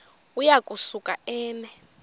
uya kusuka eme